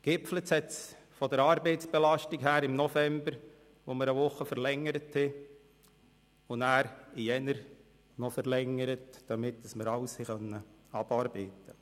Gegipfelt hat es von der Arbeitsbelastung her im November, als wir um eine Woche verlängerten und danach noch in den Januar verlängerten, damit wir alles abarbeiten konnten.